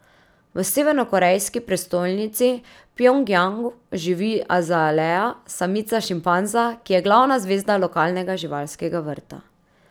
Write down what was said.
V severnokorejski prestolnici Pjongjang živi Azalea, samica šimpanza, ki je glavna zvezda lokalnega živalskega vrta.